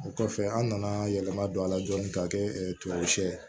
O kɔfɛ an nana yɛlɛma don a la dɔɔni k'a kɛ tubabucɛ ye